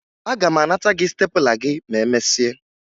Aga m anata gị stepụla gị ma emesịa